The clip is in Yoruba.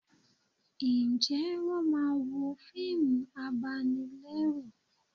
Ǹjẹ́ wọ́n máa ń wo fíìmù abanilẹ́rù